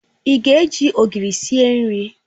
Ị ga-eji Ogiri esi nri?